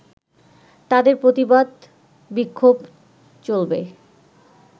তাদের প্রতিবাদ-বিক্ষোভ চলবে